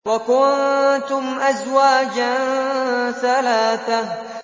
وَكُنتُمْ أَزْوَاجًا ثَلَاثَةً